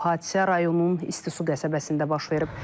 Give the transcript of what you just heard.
Hadisə rayonun İsti su qəsəbəsində baş verib.